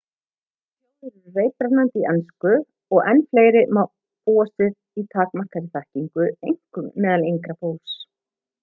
margar þjóðir eru reiprennandi í ensku og í enn fleiri má búast við takmarkaðri þekkingu einkum meðal yngra fólks